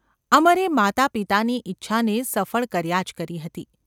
અમરે માતાપિતાની ઇચ્છાને સફળ કર્યા જ કરી હતી.